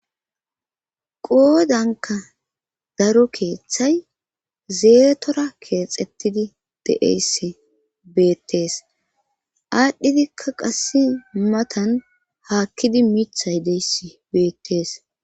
Qoodanka daro keeththay zeetora keexxettidi de'eyssi beettees aadhdhidikka qass matan haakkidi mithay deyss beettees.